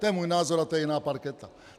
To je můj názor a to je jiná parketa.